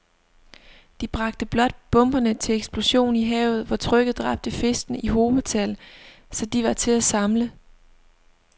De bragte blot bomberne til eksplosion i havet, hvor trykket dræbte fiskene i hobetal, så de var til at samle